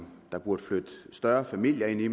der burde flytte større familier ind i